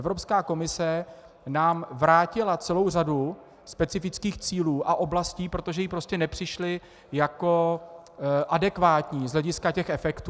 Evropská komise nám vrátila celou řadu specifických cílů a oblastí, protože jí prostě nepřišly jako adekvátní z hlediska těch efektů.